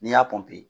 N'i y'a